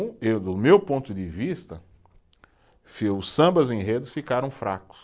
Eu, do meu ponto de vista, os sambas-enredos ficaram fracos.